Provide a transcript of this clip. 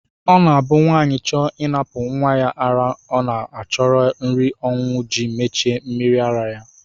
Ọ na-abụ nwaanyị chọọ ịnapụ nnwa ya ara ọ na-achọrọ nri ọṅụṅụ ji mechie mmiri ara ya